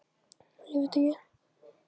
Þórunn, hvernig kemst ég þangað?